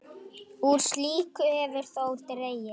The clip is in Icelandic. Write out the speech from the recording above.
Úr slíku hefur þó dregið.